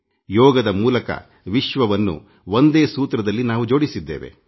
ಯೋಗದ ಮೂಲಕ ವಿಶ್ವವನ್ನು ಒಂದೇ ಸೂತ್ರದಲ್ಲಿ ನಾವು ಜೋಡಿಸಿದ್ದೇವೆ